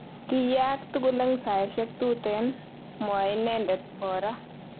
Kiyaak tugul eng saishek tuten,"mwoe inedet Bora.